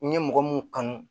N ye mɔgɔ mun kanu